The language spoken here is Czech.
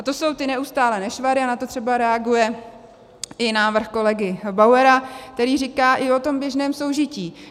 A to jsou ty neustálé nešvary a na to třeba reaguje i návrh kolegy Bauera, který říká i o tom běžném soužití.